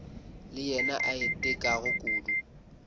le yena a itekago kudu